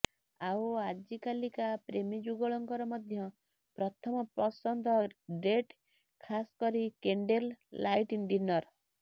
ଆଉ ଆଜିକାଲିକା ପ୍ରେମୀ ଯୁଗଳଙ୍କର ମଧ୍ୟ ପ୍ରଥମ ପ୍ରସନ୍ଦ ଡେଟ୍ ଖାସ କରି କେଣ୍ଡେଲ ଲାଇଟ୍ ଡିନର